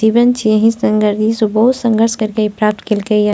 जीवन छे एही संघर्ष ई सब बहुत संघर्ष करके ई प्राप्त कैल कई हे।